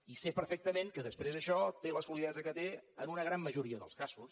i sé perfectament que després això té la solidesa que té en una gran majoria dels casos